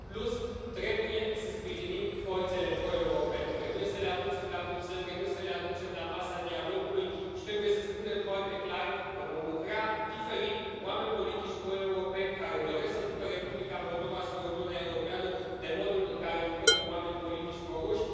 În plus, trebuie să sprijinim forțele pro europene, trebuie să le aducem la Bruxelles, trebuie să le aducem la masa dialogului și trebuie să spunem foarte clar că vom lucra diferit cu oameni politici pro europeni care doresc să ducă Republica Moldova spre Uniunea Europeană, de modul în care lucrăm cu oameni politici pro ruși.